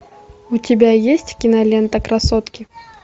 у тебя есть кинолента красотки